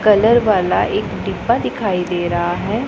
Colour वाला एक डिब्बा दिखाई दे रहा है।